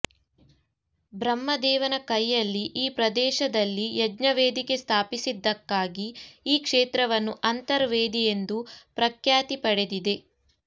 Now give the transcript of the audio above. ಬ್ರಹ್ಮ ದೇವನ ಕೈಯಲ್ಲಿ ಈ ಪ್ರದೇಶದಲ್ಲಿ ಯಜ್ಞ ವೇದಿಕೆ ಸ್ಥಾಪಿಸಿದ್ದಕ್ಕಾಗಿ ಈ ಕ್ಷೇತ್ರವನ್ನು ಅಂತರ್ ವೇದಿ ಎಂದು ಪ್ರಖ್ಯಾತಿ ಪಡೆದಿದೆ